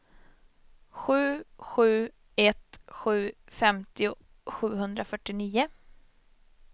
sju sju ett sju femtio sjuhundrafyrtionio